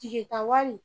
Tigita wari